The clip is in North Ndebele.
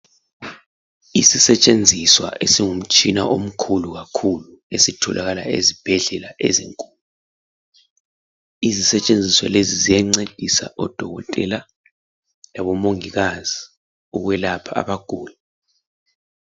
Isisetshenziswa isingumtshina omkhulu kakhulu esitholakala ezibhedlela ezinkulu. Izesetshenziswa lezi ziyancedisa odokotela labo mongikazi ukwelapha abaguli.